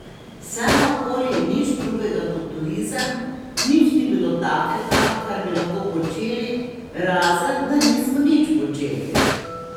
Vse naokoli nič drugega kot turizem, nič ni bilo takega, kar bi lahko počeli, razen da nismo nič počeli.